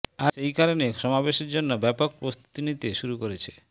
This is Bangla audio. আর সেই কারণে সমাবেশের জন্য ব্যাপক প্রস্তুতি নিতে শুরু করেছে